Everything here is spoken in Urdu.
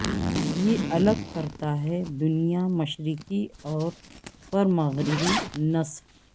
یہ الگ کرتا ہے دنیا مشرقی اور پر مغربی نصف